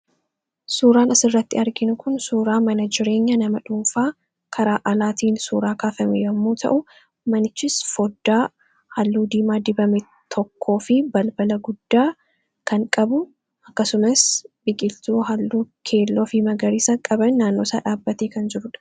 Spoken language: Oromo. Suuraan asii gaditti arginu kun suuraa mana jireenyaa nama dhuunfaa karaa alaa suuraa kaafame yommuu ta'u, manichis foddaa halluu diimaa dibame tokkoo fi balbala guddaa kan qabu akkasumas biqiltuu halluu keelloo fi magariisa qaban naannoosaa dhaabbatee kan jirudha.